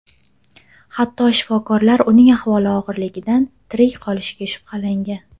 Hatto shifokorlar uning ahvoli og‘irligidan tirik qolishiga shubhalangan.